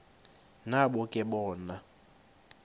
nabo ke bona